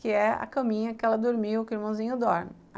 que é a caminha que ela dormiu, que o irmãozinho dorme.